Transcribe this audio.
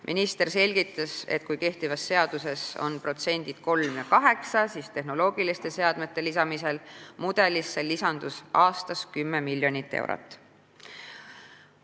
Minister selgitas, et kui kehtivas seaduses on protsendid 3 ja 8, siis tehnoloogiliste seadmete lisamisel mudelisse lisanduks aastas 10 miljonit eurot.